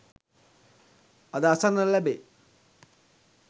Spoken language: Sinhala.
අද අසන්නට ලැබේ.